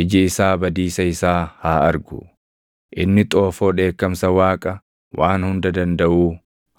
Iji isaa badiisa isaa haa argu; inni xoofoo dheekkamsa Waaqa Waan Hunda Dandaʼuu